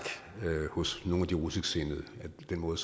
hos nogle af de russisksindede med den måde